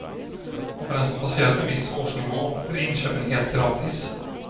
Och för den som passerat en viss årsnivå blir inköpen helt gratis.